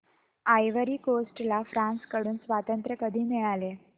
ivory Coast ला France कडून स्वातंत्र्य कधी मिळाले